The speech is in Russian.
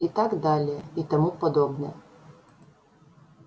и так далее и тому подобное